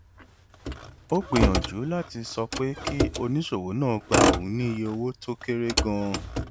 ó gbìyànjú láti sọ pé kí oníṣòwò náà gba òun ní iye owó tó kéré ganan